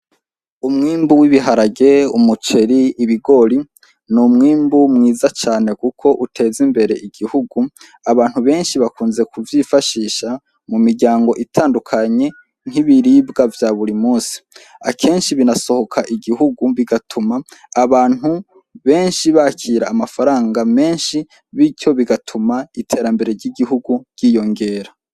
Umwimbu w'ibiharage, umuceri, ibigori; n'umwimbu mwiza cane kuko uteza imbere igihugu. Abantu benshi bakunze kuvyifashisha mu miryango itandukanye nk'ibiribwa vya buri munsi. Akenshi binasohoka igihugu bigatuma abantu benshi bakira amafaranga menshi, birkyo bigatuma iterambere ry'igihugu ryiyongera.